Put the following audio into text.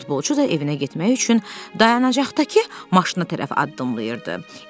Futbolçu da evinə getmək üçün dayanacaqdakı maşına tərəf addımlayırdı.